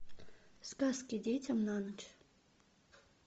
сказки детям на ночь